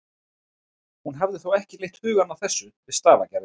Hún hafði þó ekki leitt hugann að þessu við stafagerðina.